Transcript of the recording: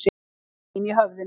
Mín í höfðinu.